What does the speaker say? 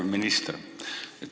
Hea minister!